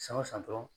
San o san dɔrɔn